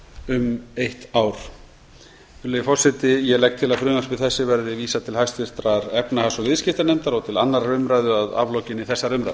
um eitt ár virðulegi forseti ég legg til að frumvarpi þessu verði vísað til hæstvirtrar efnahags og viðskiptanefndar og til annarrar umræðu að aflokinni þessari umræðu